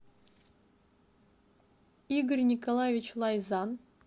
игорь николаевич лайзан